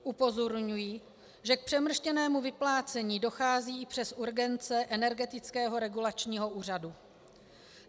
Upozorňuji, že k přemrštěnému vyplácení dochází i přes urgence Energetického regulačního úřadu.